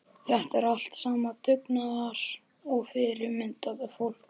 Þetta er allt saman dugnaðar- og fyrirmyndarfólk.